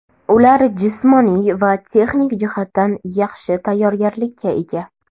Ular jismoniy va texnik jihatdan yaxshi tayyorgarlikka ega.